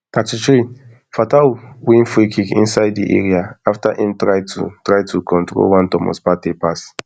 thirty-three fataw win freekick inside im area afta im try to try to control one thomas partey pass